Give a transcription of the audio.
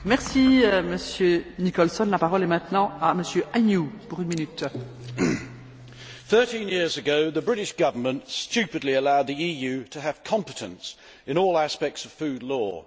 Madam President, thirteen years ago the British Government stupidly allowed the EU to have competence in all aspects of food law.